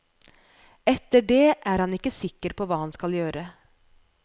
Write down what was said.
Etter det er han ikke sikker på hva han skal gjøre.